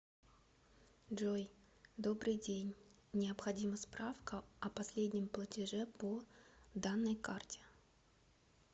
джой добрый день необходима справка о последнем платеже по данной карте